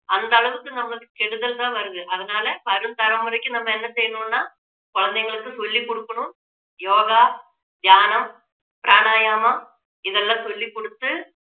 அந்த அளவுக்கு நமக்கு கெடுதல் தான் வருது அதனால வரும் தலைமுறைக்கு நம்ம என்ன செய்யணும்னா குழந்தைகளுக்கு சொல்லிக் கொடுக்கணும் யோகா, தியானம், பிராணாயாமம் இதெல்லாம் சொல்லிக் கொடுத்து